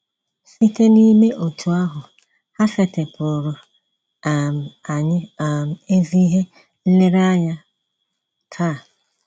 Site n’ime otú ahụ, ha setịpụụrụ um anyị um ezi ihe nlereanya taa